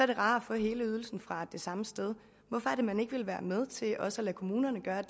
det rarere at få hele ydelsen fra det samme sted hvorfor er det man ikke vil være med til også at lade kommunerne gøre